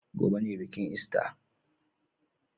Gobe ne bikin ista.